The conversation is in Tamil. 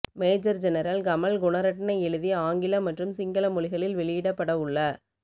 மேஜர் ஜெனரல் கமல் குணரட்ன எழுதி ஆங்கிலம் மற்றும் சிங்கள மொழிகளில் வெளியிடப்படவுள்ள